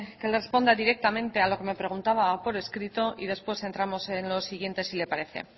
que le responda directamente a lo que me preguntaba por escrito y después entramos en lo siguiente si le parece